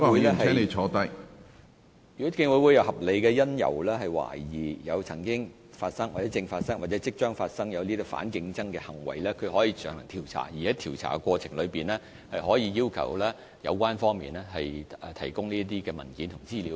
如果競委會有合理理由，懷疑反競爭行為曾經發生、正在發生或即將發生，可以進行調查，而在調查過程中，競委會可要求提供相關文件和資料。